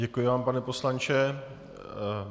Děkuji vám, pane poslanče.